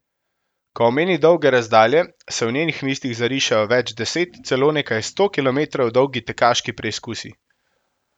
Ko omeni dolge razdalje, se v njenih mislih zarišejo več deset, celo nekaj sto kilometrov dolgi tekaški preizkusi.